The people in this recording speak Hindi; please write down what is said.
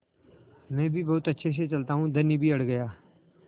मैं भी बहुत अच्छे से चलता हूँ धनी भी अड़ गया